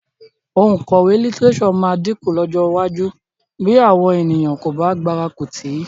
Òǹkọ̀wé lítíréṣọ̀ máa dínkù lọ́jọ́ iwájú bí àwọn ènìyàn kò bá gbárùkù tì í